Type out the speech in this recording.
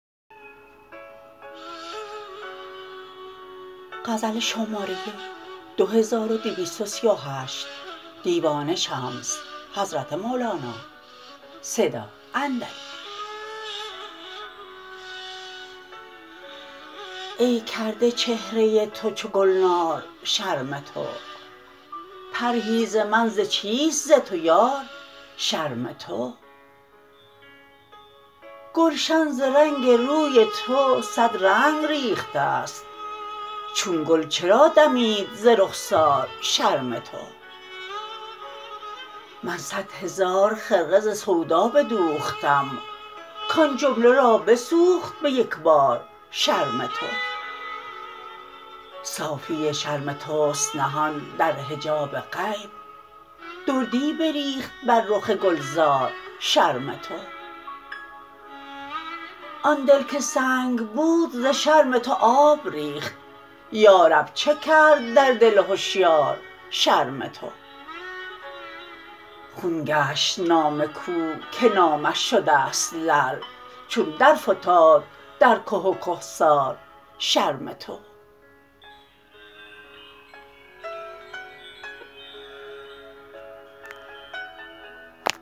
ای کرده چهره تو چو گلنار شرم تو پرهیز من ز چیست ز تو یار شرم تو گلشن ز رنگ روی تو صد رنگ ریخته ست چون گل چرا دمید ز رخسار شرم تو من صد هزار خرقه ز سودا بدوختم کان جمله را بسوخت به یک بار شرم تو صافی شرم توست نهان در حجاب غیب دردی بریخت بر رخ گلزار شرم تو آن دل که سنگ بود ز شرم تو آب ریخت یا رب چه کرد در دل هشیار شرم تو خون گشت نام کوه که نامش شده ست لعل چون درفتاد در که و کهسار شرم تو